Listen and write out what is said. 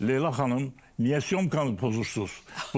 Leyla xanım niyə syomkanı pozursuz?